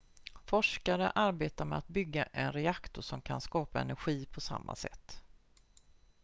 forskare arbetar med att bygga en reaktor som kan skapa energi på samma sätt